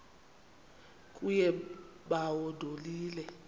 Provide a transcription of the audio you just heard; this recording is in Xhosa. kuye bawo ndonile